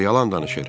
o yalan danışır.